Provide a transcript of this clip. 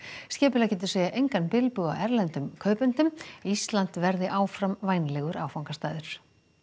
skipuleggjendur segja engan bilbug á erlendum kaupendum Ísland verði áfram vænlegur áfangastaður